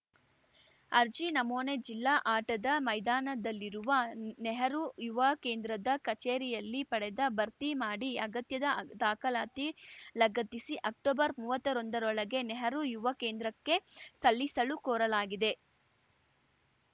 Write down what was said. ಅರ್ಜಿ ನಮೂನೆ ಜಿಲ್ಲಾ ಆಟದ ಮೈದಾನದಲ್ಲಿರುವ ನೆಹರು ಯುವ ಕೇಂದ್ರದ ಕಚೇರಿಯಲ್ಲಿ ಪಡೆದ ಭರ್ತಿಮಾಡಿ ಅಗತ್ಯದ ದಾಖಲಾತಿ ಲಗತ್ತಿಸಿ ಅಕ್ಟೊಬರ್ ಮೂವತ್ತ್ ಒಂದರೊಳಗೆ ನೆಹರು ಯುವ ಕೇಂದ್ರಕ್ಕೆ ಸಲ್ಲಿಸಲು ಕೋರಲಾಗಿದೆ